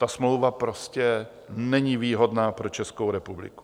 Ta smlouva prostě není výhodná pro Českou republiku.